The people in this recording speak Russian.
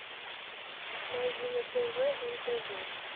найди на тв нтв